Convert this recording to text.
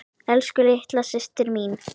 Elsku litla systir mín.